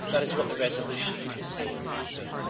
That is what the resolution is saying today.